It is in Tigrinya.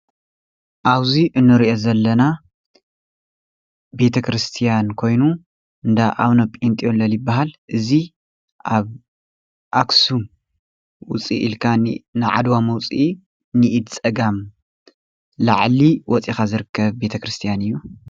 ኣብዚ እንርኦ ዘለና ቤተ-ክርስትያን ኮይኑ እንዳ ኣቡነጴጠለን ይባሃል። እዚ ኣብ ኣክሱም ውፅእ ኢልካ ንዓድዋ መውፂኢ ንኢድ ፀጋም ላዕሊ ወፂኻ ዝርከብ ቤተ ክርስትያን እዩ።